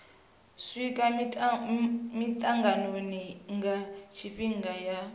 swika mitanganoni nga tshifhinga ya